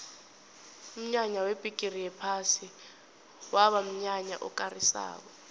umnyanya webhigiri yephasi kwaba mnyanya okarisako